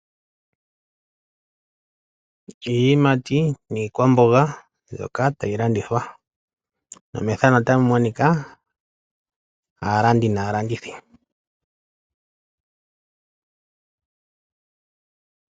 Iiyimati niikwamboga mbyoka tayi landithwa, nomethano otamu monika aalandi naalandithi.